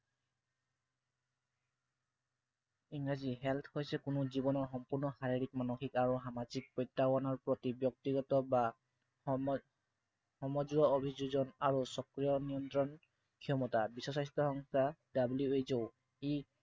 ইংৰাজী health হৈছে কোনো জীৱনৰ সম্পূৰ্ণ শাৰীৰিক, মানসিক আৰু সামাজিক প্ৰত্য়াহ্বানৰ প্ৰতি ব্য়ক্তিগত বা সমজুৱা অভিযোজন আৰু ক্ষমতা। বিশ্ব স্বাস্থ্য় সংস্থা WHO ই